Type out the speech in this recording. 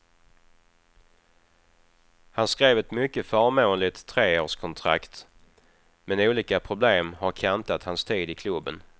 Han skrev ett mycket förmånligt treårskontrakt, men olika problem har kantat hans tid i klubben.